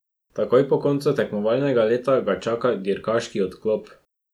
Takoj po koncu tekmovalnega leta ga čaka dirkaški odklop.